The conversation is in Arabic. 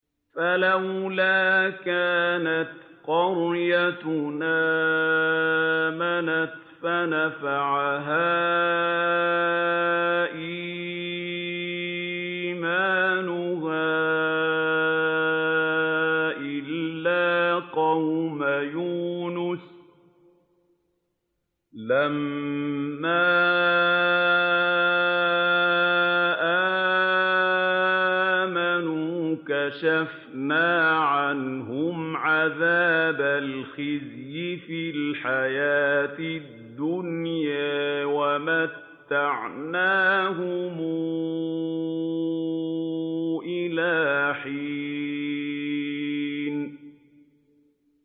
فَلَوْلَا كَانَتْ قَرْيَةٌ آمَنَتْ فَنَفَعَهَا إِيمَانُهَا إِلَّا قَوْمَ يُونُسَ لَمَّا آمَنُوا كَشَفْنَا عَنْهُمْ عَذَابَ الْخِزْيِ فِي الْحَيَاةِ الدُّنْيَا وَمَتَّعْنَاهُمْ إِلَىٰ حِينٍ